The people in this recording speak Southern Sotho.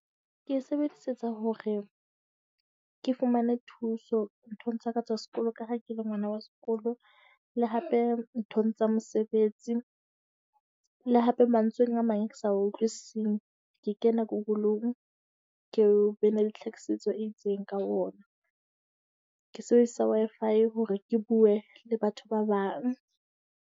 Ke e sebedisetsa hore ke fumane thuso nthong tsa ka tsa sekolo, ka ha ke le ngwana wa sekolo. Le hape nthong tsa mosebetsi. Le hape mantsweng a mang ao ke sa a utlwisiseng, ke kena Google-ng ke be ne le tlhakisetso e itseng ka ona. Ke sebedisa Wi-Fi hore ke bue le batho ba bang.